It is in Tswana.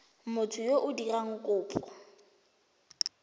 motho yo o dirang kopo